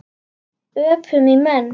Öpum í menn.